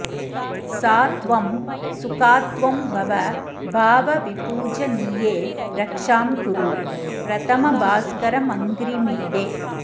सा त्वं सुखात्त्वं भव भावविपूजनीये रक्षां कुरु प्रथमभास्करमङ्घ्रिमीडे